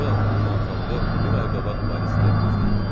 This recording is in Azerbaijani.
General, onun otalığı bir ay qabaq Parisdə evləcədən öldü.